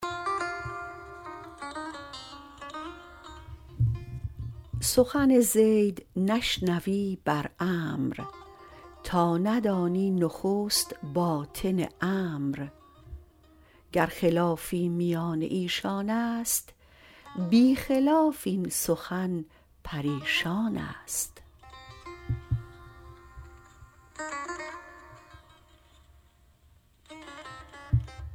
سخن زید نشنوی بر عمرو تا ندانی نخست باطن امر گر خلافی میان ایشانست بی خلاف این سخن پریشانست